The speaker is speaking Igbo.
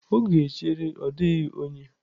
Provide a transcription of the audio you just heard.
Oge echere ọ dịghị onye.